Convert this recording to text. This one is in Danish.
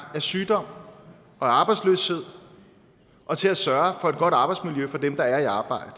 af sygdom og arbejdsløshed og til at sørge for et godt arbejdsmiljø for dem der er i arbejde